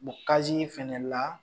fana la